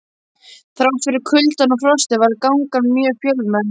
Þrátt fyrir kuldann og frostið var gangan mjög fjölmenn.